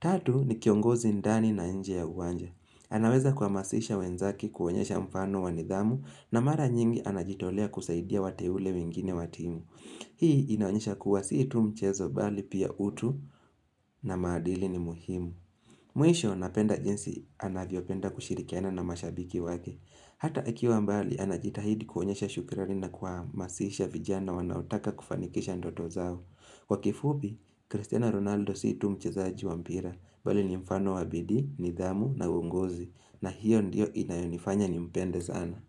Tatu ni kiongozi ndani na nje ya uwanja anaweza kuamasisha wenzake kuonyesha mfano wanidhamu na mara nyingi anajitolea kusaidia wateule wengine watimu Hii inaonyesha kuwa si tu mchezo bali pia utu na maadili ni muhimu Mwisho napenda jinsi anavyo penda kushirikiana na mashabiki wake. Hata akiwa mbali anajitahidi kuonyesha shukrani na kuhamasisha vijana wanaotaka kufanikisha ndoto zao. Kwa kifupi, Cristiano Ronaldo si tu mchezaji wa mpira bali ni mfano wa bidii, nidhamu na uongozi na hiyo ndiyo inayonifanya ni mpende zana.